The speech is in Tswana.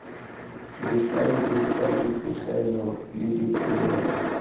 difaele tsa dipegelo le dipoelo